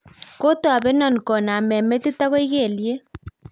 kotobenon kooname metit agoi kelyek